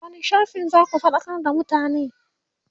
a wani shafin zaku faɗakar da mutane?